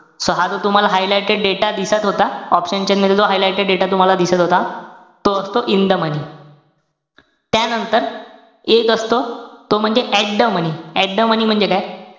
So हा जो तुम्हाला highlighted दिसत होता, option chain मध्ये जो highlighted data तुम्हाला दिसत होता. तो असतो in the moeny त्यानंतर, एक असतो तो म्हणजे at the money. At the money म्हणजे काय?